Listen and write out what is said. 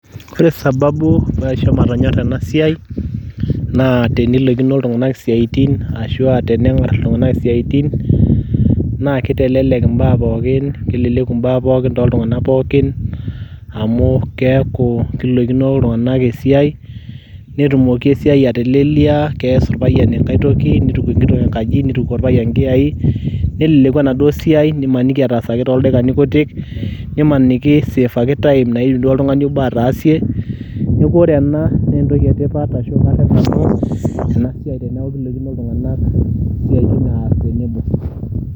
ore sababu pee aisho matonyora ena sai, naa teneilokino iltunganak isiatin, ashu aa teneng'ar iltunganak isiatin, naa kitelelk imbaa, pookin kelelku ibaa tooltunganak pookin, amu keeku kiloikino iltung'anak esiai, netumoki esiai atelelia. kees irpayiani enkae toki, nituku irpayiani inkayai nelelku enaduo siai, nimaniki etaasaki tooldaikani kutik. nimaniki iseefaki time naidim duo oltungani obo ataasie, neeku ore ena naa entoki etipat ena siai teneeku kiloikin iltung'anak isiatin aas tenebo.